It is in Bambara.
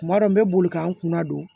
Kuma dɔ n bɛ boli ka n kunna don